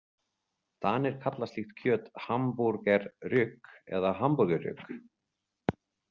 Danir kalla slíkt kjöt hamburgerryg eða hamborgerryg.